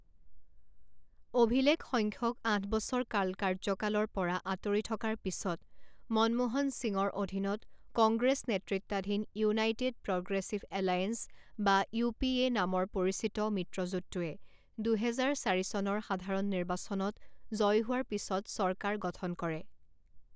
অভিলেখসংখ্যক আঠ বছৰ কাল কাৰ্যকালৰ পৰা আঁতৰি থকাৰ পিছত, মনমোহন সিঙৰ অধীনত কংগ্ৰেছ নেতৃত্বাধীন ইউনাইটেড প্ৰগ্ৰেছিভ এলায়েন্স বা ইউ.পি.এ. নামেৰে পৰিচিত মিত্ৰজোঁটটোৱে দুহেজাৰ চাৰি চনৰ সাধাৰণ নিৰ্বাচনত জয়ী হোৱাৰ পিছত চৰকাৰ গঠন কৰে।